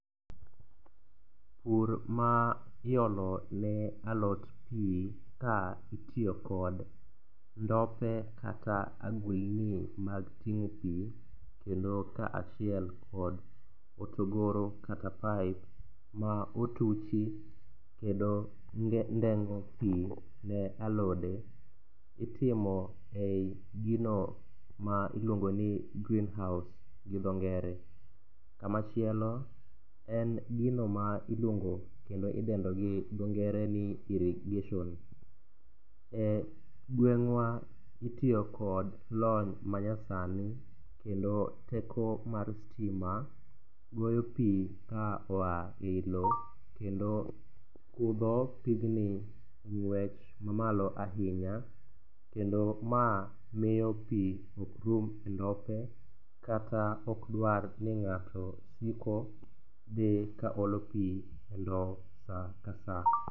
Pur ma iolone alot pi ka itiyo kod ndope kata agulni mag ting'o pi kendo kaachiel kod hotogoro kata pipe ma otuchi kendo ndengo pi ne alode itimo e i gino ma iluongo ni green house gi dho ngere. Kamachielo en gino ma iluongo kendo idendo gi dho ngere ni irrigation. E i gweng'wa itiyo kod lony manyasni kendo teko mar stima goyo pi ka oa e i lo kendo kudho pigni ng'wech mamalo ahinya kendo ma miyo pi okrumo e ndope kata okdwar ni ng'ato siko dhi kaolo pi e ndo sa ka sa.